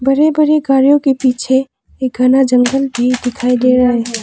बड़े बड़े गाड़ियों के पीछे एक घना जंगल भी दिखाई दे रहा है।